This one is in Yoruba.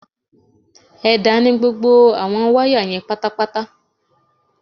Ẹ̀dá ni gbogbo àwọn wáyà yẹn pátápátá